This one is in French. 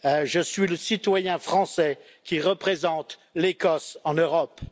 Je suis le citoyen français qui représente l'Écosse en Europe.